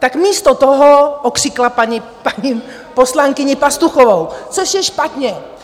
- tak místo toho okřikla paní poslankyní Pastuchovou, což je špatně.